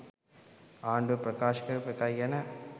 ආණ්ඩුව ප්‍රකාශ කරපු එකයි ගැන.